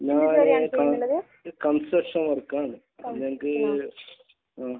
ഞങ്ങൾ construction work ആണ്. ആഹ്.